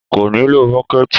O kò nílò bọ́kẹ́ẹ̀tì.